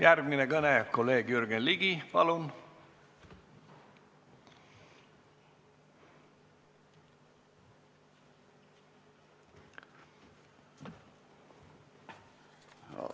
Järgmine kõne, kolleeg Jürgen Ligi, palun!